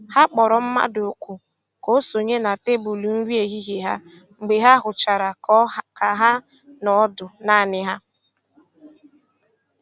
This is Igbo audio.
Ha kpọ̀rọ̀ mmadụ́ òkù́ kà o sònyè na tèbụ́lụ́ nri èhìhiè ha mgbe ha hụ̀chàra kà ha nọ̀ ọ́dụ́ naanì ha.